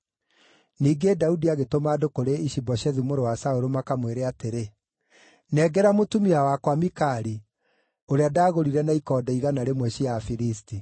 Ningĩ Daudi agĩtũma andũ kũrĩ Ishi-Boshethu mũrũ wa Saũlũ makamwĩre atĩrĩ, “Nengera mũtumia wakwa Mikali, ũrĩa ndagũrire na ikonde igana rĩmwe cia Afilisti.”